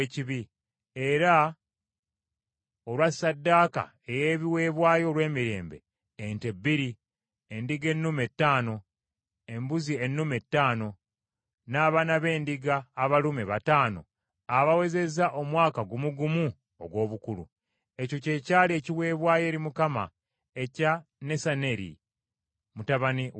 era olwa ssaddaaka ey’ebiweebwayo olw’emirembe: ente bbiri, endiga ennume ttaano, embuzi ennume ttaano, n’abaana b’endiga abalume bataano abawezezza omwaka gumu gumu ogw’obukulu. Ekyo kye kyali ekiweebwayo eri Mukama ekya Nesaneri mutabani wa Zuwaali.